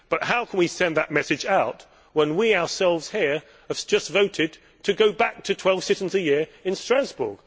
But how can we send that message out when we ourselves here have just voted to go back to 12 sittings a year in Strasbourg?